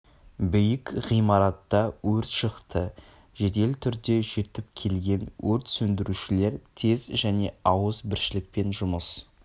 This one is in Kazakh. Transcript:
биік ғимаратта өрт шықты жедел түрде жетіп келген өрт сөндірушілер тез және ауыз біршілікпен жұмыс